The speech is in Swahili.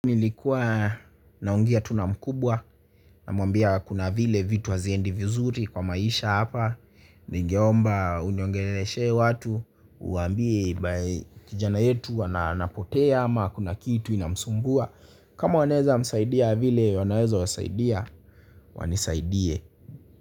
Nilikuwa naongea tu na mkubwa namwambia kuna vile vitu haziendi vizuri kwa maisha hapa. Ningeomba uniongeleshe watu uwaambie kijana yetu anapotea ama kuna kitu inamsumbua kama wanaezamsaidia vile wanaweza wasaidia wanisaidie.